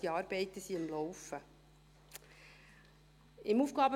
Diese Arbeiten laufen also.